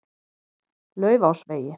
Laufásvegi